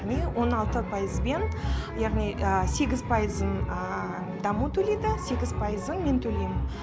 яғни он алты пайызбен яғни сегіз пайызын даму төлейді сегіз пайызын мен төлеймін